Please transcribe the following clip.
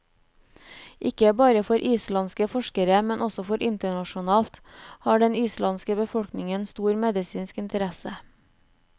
Ikke bare for islandske forskere, men også internasjonalt, har den islandske befolkning stor medisinsk interesse.